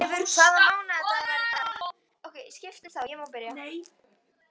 Herleifur, hvaða mánaðardagur er í dag?